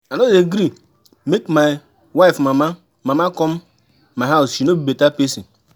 I no dey gree make my wife mama mama come my house, she no be better pesin.